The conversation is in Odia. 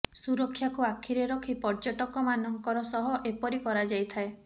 ସୁରକ୍ଷାକୁ ଆଖିରେ ରଖି ପର୍ଯ୍ଯଟକ ମାନଙ୍କର ସହ ଏପରି କରାଯାଇଥାଏ